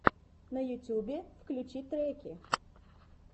на ютубе включи треки